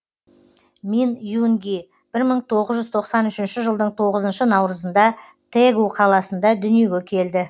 мин юнг бір мың тоғңыз жүз тоқсан үшінші жылдың тоғызыншы наурызында тэгу қаласында дүниеге келді